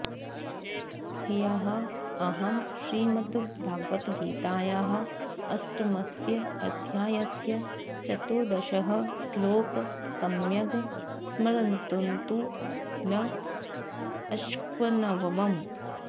ह्यः अहं श्रीमद्भगवद्गीतायाः अष्टमस्य अध्यायस्य चतुर्दशः श्लोकः सम्यग् स्मर्तुं न अशक्नवम्